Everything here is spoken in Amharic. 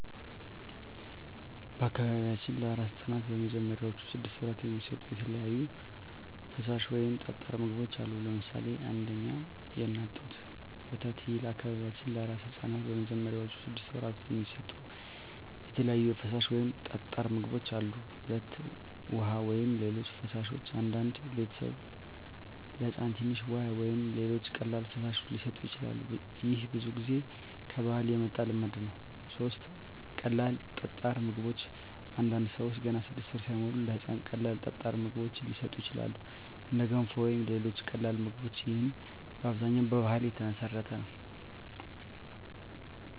በአካባቢያችን ለአራስ ሕፃናት በመጀመሪያዎቹ ስድስት ወራት የሚሰጡ የተለያዩ ፈሳሽ ወይም ጠጣር ምግቦች አሉ። ለምሳሌ 1. የእናት ጡት ወተት ይህ ለበአካባቢያችን ለአራስ ሕፃናት በመጀመሪያዎቹ ስድስት ወራት የሚሰጡ የተለያዩ ፈሳሽ ወይም ጠጣር ምግቦች አሉ። 2. ውሃ ወይም ሌሎች ፈሳሾች አንዳንድ ቤተሰቦች ለሕፃን ትንሽ ውሃ ወይም ሌሎች ቀላል ፈሳሾች ሊሰጡ ይችላሉ። ይህ ብዙ ጊዜ ከባህል የመጣ ልማድ ነው። 3. ቀላል ጠጣር ምግቦች አንዳንድ ሰዎች ገና 6 ወር ሳይሞላ ለሕፃን ቀላል ጠጣር ምግቦች ሊሰጡ ይችላሉ፣ እንደ ገንፎ ወይም ሌሎች ቀላል ምግቦች። ይህም በአብዛኛው በባህል የተመሠረተ ነው።